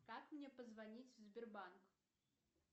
как мне позвонить в сбербанк